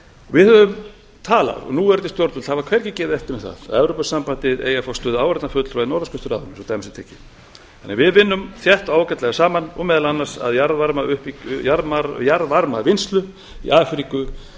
við höfum talað og núverandi stjórnvöld hafa hvergi gefið eftir um það að evrópusambandið eigi að fá stöðu áheyrnarfulltrúa í norðurskautsráðinu svo dæmi sé tekið þannig að við vinnum þétt og ágætlega saman og meðal annars að jarðvarmavinnslu í afríku svo eitthvað